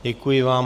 Děkuji vám.